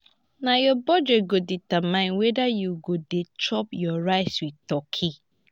na your budget go determine whether you go dey chop your rice with turkey.